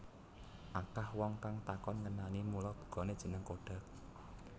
Akah wong kang takon ngenani mula bukane jeneng Kodak